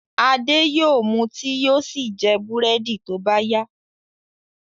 Ade yóò mú tíì yóò sì jẹ búrẹ́dì tó bá yá.